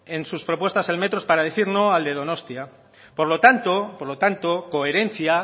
en sus propuestas el metro es para decir no al de donostia por lo tanto por lo tanto coherencia